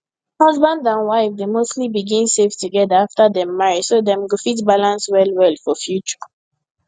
husband and wife dey mostly begin save together after dem marry so dem go fit balance well well for future